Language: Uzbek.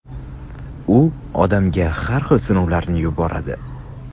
u odamga har xil sinovlarni yuboradi.